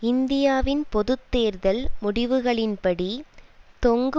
இந்தியாவின் பொது தேர்தல் முடிவுகளின்படி தொங்கு